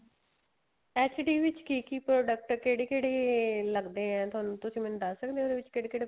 HD ਵਿੱਚ ਕੀ ਕੀ product ਕਿਹੜੇ ਕਿਹੜੇ ਲੱਗਦੇ ਏ ਤੁਹਾਨੂੰ ਤੁਸੀਂ ਮੈਨੂੰ ਦੱਸ ਸਕਦੇ ਓ ਇਹਦੇ ਵਿੱਚ ਕਿਹੜੇ ਕਿਹੜੇ